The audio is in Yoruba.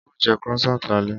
Á ó jẹ́ Croissant lálẹ́